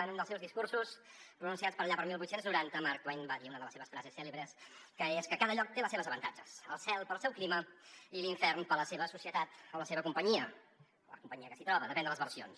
en un dels seus discursos pronunciats per allà el divuit noranta mark twain va dir una de les seves frases cèlebres que és que cada lloc té els seus avantatges el cel pel seu clima i l’infern per la seva societat o la seva companyia la companyia que s’hi troba depèn de les versions